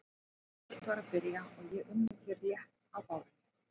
En allt var að byrja og ég unni þér létt á bárunni.